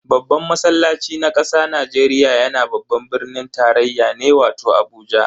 Babban masallaci na kasa Najeriya yana babban birnin tarayya ne wato Abuja.